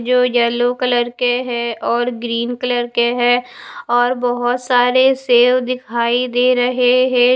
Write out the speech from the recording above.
जो yellow colour के हैं और ग्रीन कलर के हैं और बहोत सारे सेव दिखाई दे रहे हैं।